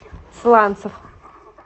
сланцев